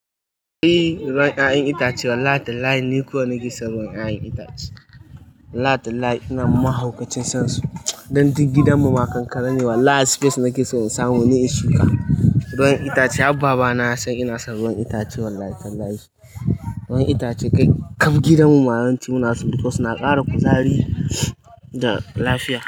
Eeee! Ruwan 'ya'yan itace wallahi tallahi ni kowa nake son ruwan 'ya'yan itace. Wallahi tallahi ina mahaukacin sansu. Dan duk gidan mu ma kankana ne wallahi space nake so in samu ne in shuka. Ruwan itace, har baba na yasan ina son ruwan itace wallahi tallahi. Ruwan itace kai kam gidan mu ma yawanci muna so. Duka su na ƙara kuzari da lafiya.